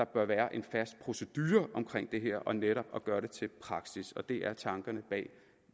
bør være en fast procedure i det her netop at gøre det til praksis det er tankerne bag